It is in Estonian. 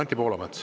Anti Poolamets.